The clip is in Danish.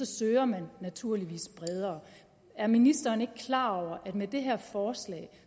søger man naturligvis bredere er ministeren ikke klar over at med det her forslag